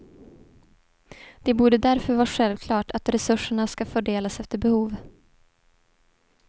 Det borde därför vara självklart att resurserna ska fördelas efter behov.